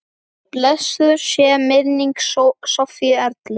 Blessuð sé minning Sofíu Erlu.